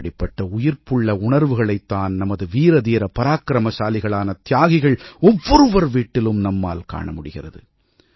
இப்படிப்பட்ட உயிர்ப்புள்ள உணர்வுகளைத் தான் நமது வீர தீர பராக்கிரமசாலிகளான தியாகிகள் ஒவ்வொருவர் வீட்டிலும் நம்மால் காணமுடிகிறது